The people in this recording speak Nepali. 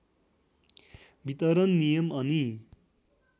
वितरण नियम अनि